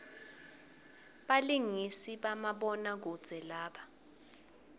balingisi bamabona kudze laba